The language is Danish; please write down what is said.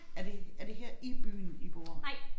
Er det er det her i byen I bor